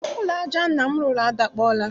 Ụlọ aja nna m rụrụ adakpọọla